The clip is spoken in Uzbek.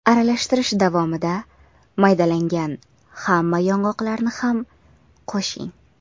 Aralashtirish davomida maydalangan hamma yong‘oqlarni ham qo‘shing.